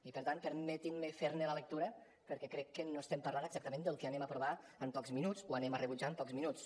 i per tant permetin me fer ne la lectura perquè crec que no estem parlant exactament del que aprovarem en pocs minuts o rebutjarem en pocs minuts